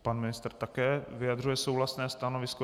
Pan ministr také vyjadřuje souhlasné stanovisko.